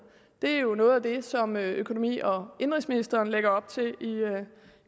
det er jo noget af det som økonomi og indenrigsministeren lægger op til